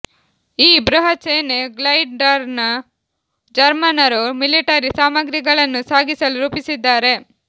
ಈ ಬೃಹತ್ ಸೇನಾ ಗ್ಲೈಡರ್ಅನ್ನು ಜರ್ಮನ್ನರು ಮಿಲಿಟರಿ ಸಾಮಾಗ್ರಿಗಳನ್ನು ಸಾಗಿಸಲು ರೂಪಿಸಿದ್ದಾರೆ